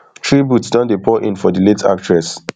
tributes don dey pour in for di late actress